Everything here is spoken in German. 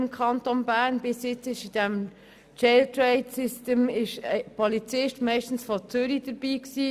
Bis jetzt war in diesem Jail Train System meistens ein Polizist aus Zürich dabei.